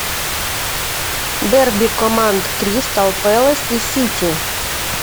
дерби команд кристал пэлас и сити